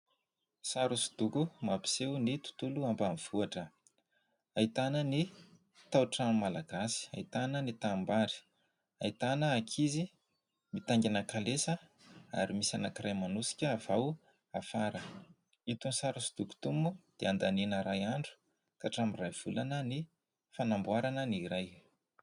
Sary hosodoko mampiseho ny tontolo ambanivohitra. Ahitana ny tao-trano malagasy, ahitana ny tanimbary, ahitana ankizy mitaingina kalesa ary misy anankiray manosika avy ao afara. Itony sary hosodoko itony moa dia andaniana iray andro ka hatramin'iray volana ny fanamboarana ny iray.